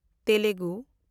Telugu